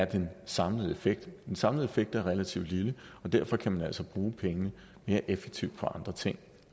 den samlede effekt er den samlede effekt af relativt lille og derfor kan man altså bruge pengene mere effektivt på andre ting